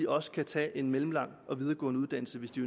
også kan tage en mellemlang og videregående uddannelse hvis de